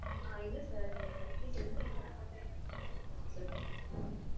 ஆ. இல்ல sir. நீங்க fresh juice எடுக்கணும் சொல்லல .